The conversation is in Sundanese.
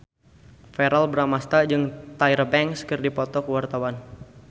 Verrell Bramastra jeung Tyra Banks keur dipoto ku wartawan